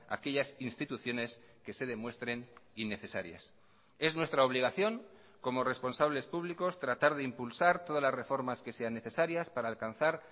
aquellas instituciones que se demuestren innecesarias es nuestra obligación como responsables públicos tratar de impulsar todas las reformas que sean necesarias para alcanzar